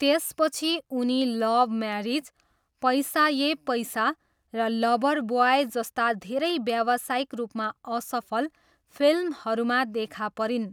त्यसपछि उनी love marriage, पैसा ये पैसा र लभर ब्वाय जस्ता धेरै व्यावसायिक रूपमा असफल फिल्महरूमा देखा परिन्।